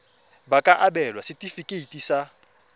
ba ka abelwa setefikeiti sa